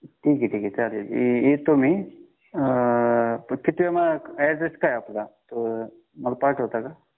ठीक आहे ठीक आहे चालेल येतो मी पण ऍड्रेस काय आहे आपला मला पाठवता का